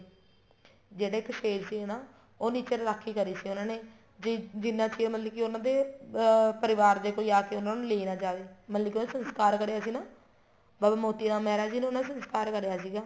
ਜਿਹੜਾ ਇੱਕ ਸ਼ੇਰ ਸੀ ਨਾ ਉਹ ਨੀਚੇ ਰਾਖੀ ਕਰੀ ਸੀ ਉਹਨਾ ਨੇ ਜਿਹਨਾ ਚਿਰ ਮਤਲਬ ਕੀ ਉਹਨਾ ਦੇ ਅਹ ਪਰਿਵਾਰ ਦੇ ਆਕੇ ਕੋਈ ਉਹਨਾ ਨੂੰ ਲੈ ਨਾ ਜਾਵੇ ਮਤਲਬ ਕੀ ਉਹਦਾ ਸੰਸਕਾਰ ਕਰਿਆ ਸੀ ਨਾ ਬਾਬਾ ਮੋਤੀ ਰਾਮ ਮਹਿਰਾ ਜੀ ਨੇ ਉਹਨਾ ਦਾ ਸੰਸਕਾਰ ਕਰਿਆ ਸੀਗਾ